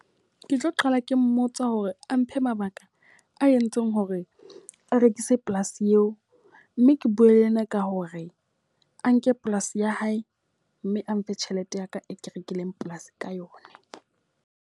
Ke tlo qala ke mmotsa hore a mphe mabaka a entseng hore a rekise polasi eo. Mme ke bue le yena ka hore a nke polasi ya hae mme a mfe tjhelete ya ka e ke rekileng polasi ka yona.